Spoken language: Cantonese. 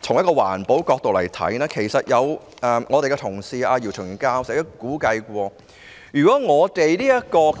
從環保角度來看，前同事姚松炎教授曾估計，如果